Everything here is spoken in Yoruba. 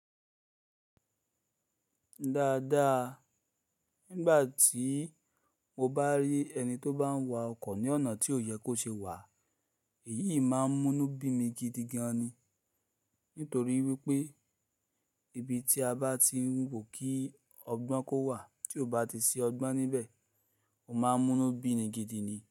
Dáadáa, nígbà tí mo bá rí ẹni tó bá ń wa ọkọ̀ ní ọ̀nà tí ò yẹ kó ṣe wà, èyí máa ń múnu bi mi gidigan ni. Nítorí wípé ibi tí a bá ti ń wò kí ọgbọ́n kó wà tí ò bá ti sí ọgbọ́n níbẹ̀, ó máa ń munu bi ni gidigan ni.